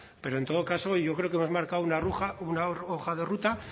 pero en todo caso yo creo que has marcado una hoja de ruta